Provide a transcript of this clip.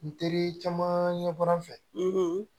N teri caman ɲɛ bɔra n fɛ